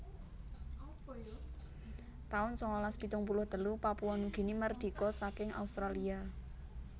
taun sangalas pitung puluh telu Papua Nugini mardika saking Australia